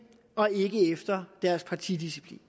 og ikke efter deres partidisciplin